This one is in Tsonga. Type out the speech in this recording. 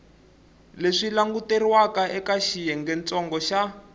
leswi languteriwaka eka xiyengentsongo xa